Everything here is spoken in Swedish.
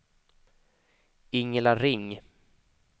Ingela Ring